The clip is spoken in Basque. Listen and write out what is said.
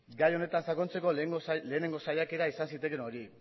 gai honetan sakontzeko lehenengo saiakera izan zitekeen hori